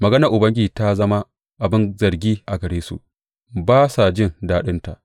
Maganar Ubangiji ta zama abin zargi a gare su; ba sa jin daɗinta.